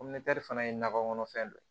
fana ye nakɔ kɔnɔfɛn dɔ ye